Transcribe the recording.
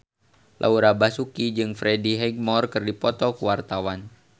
Laura Basuki jeung Freddie Highmore keur dipoto ku wartawan